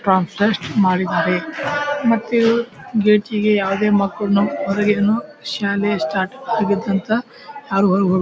transparent ಮಾಡಿದ್ದಾರೆ ಮತ್ತೆ ಇದು ಗೇಟಿಗೆ ಯಾವದೇ ಮಕ್ಕಳ್ನು ಹೊರಗಿನ್ನು ಶಾಲೆ ಸ್ಟಾರ್ಟ್ ಆಗಿದಂತ --]